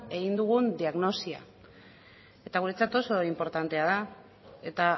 egin dugun diagnosia eta guretzat oso inportantea da eta